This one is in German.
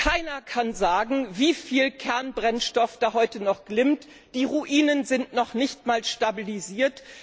Keiner kann sagen, wie viel Kernbrennstoff dort heute noch glimmt, die Ruinen sind noch nicht einmal stabilisiert.